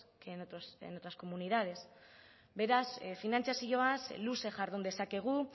que en otras comunidades beraz finantzazioaz luze jardun dezakegu